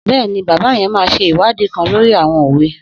Bẹ́ẹ̀ni, bàbá yen máa ṣe ìwádìí kan lòrí àwọn òwe.